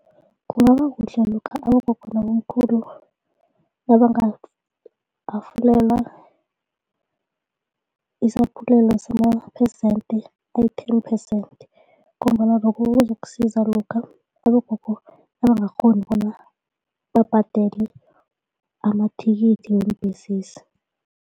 Kungaba kuhle lokha abogogo nabomkhulu nabangahafulelwa isaphulelo samaphesente ayi-ten percent ngombana lokhu kuzokusiza lokha abogogo nabangakghoni bona babhadele amathikithi weembesezi.